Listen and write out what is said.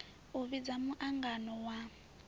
u vhidza mu angano wa